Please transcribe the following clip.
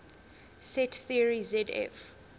set theory zf